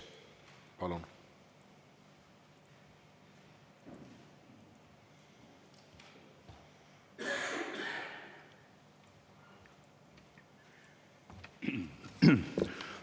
Palun!